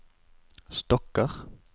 stokker